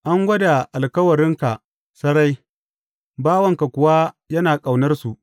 An gwada alkawuranka sarai, bawanka kuwa yana ƙaunarsu.